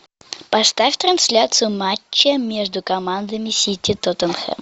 поставь трансляцию матча между командами сити тоттенхэм